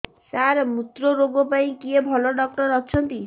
ସାର ମୁତ୍ରରୋଗ ପାଇଁ କିଏ ଭଲ ଡକ୍ଟର ଅଛନ୍ତି